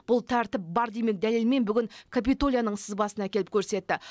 бұл тәртіп бар демек дәлелмен бүгін капитолияның сызбасын әкеліп көрсетті